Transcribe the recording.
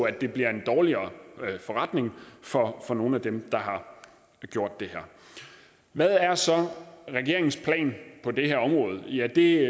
at det bliver en dårligere forretning for for nogle af dem der har gjort det her hvad er så regeringens plan på det her område ja det